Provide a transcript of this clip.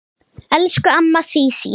Elsku amma Sísí.